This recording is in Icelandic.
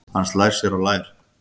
Hann slær sér á lær.